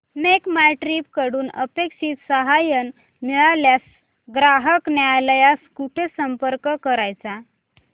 make माय trip कडून अपेक्षित सहाय्य न मिळाल्यास ग्राहक न्यायालयास कुठे संपर्क करायचा